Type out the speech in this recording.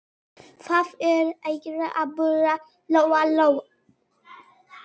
Hvað ertu eiginlega að bulla, Lóa Lóa?